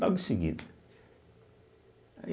Logo em seguida. aí